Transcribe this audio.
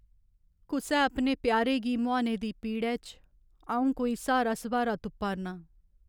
कुसै अपने प्यारे गी मुहाने दी पीड़ै च अ'ऊं कोई स्हारा सब्हारा तुप्पा'रनां।